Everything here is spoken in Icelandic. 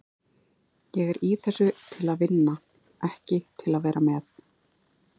Ég er í þessu til að vinna, ekki til að vera með.